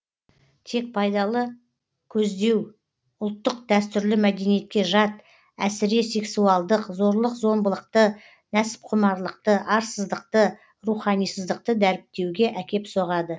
тек пайдалы көздеу ұлттық дәстүрлі мәдениетке жат әсіре сексуалдық зорлық зомбылықты нәпсіқұмарлықты арсыздықты руханисыздықты дәріптеуге әкеп соғады